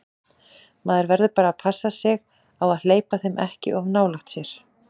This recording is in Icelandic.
Maður verður bara að passa sig á að hleypa þeim ekki of nálægt sér.